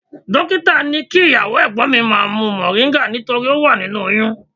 Dọ́kítà ní kí ìyàwó ẹ̀gbọ́n mi má mu moringa nítorí ó wà nínú oyún.